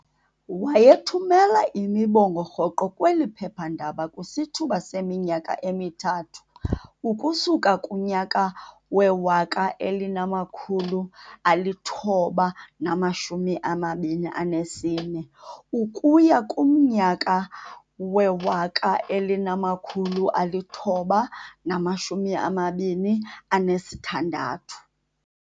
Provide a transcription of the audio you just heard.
Wayethumela imibongo rhoqo kweli phephandaba kwisithuba seminyaka emithathu ukusuka kunyaka we-1924 ukuya kumnyaka we-1926.